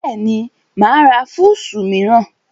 Bẹ́ẹ̀ni, mà á ra fúùsù mìíràn